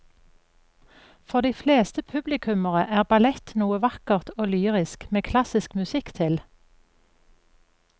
For de fleste publikummere er ballett noe vakkert og lyrisk med klassisk musikk til.